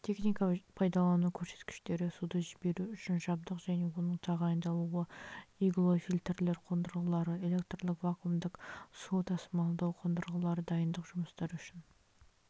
техника-пайдалану көрсеткіштері суды жіберу үшін жабдық және оның тағайындалуы иглофильтрлер қондырғылары электрлық вакуумдық су тасымалдау қондырғылары дайындық жұмыстары үшін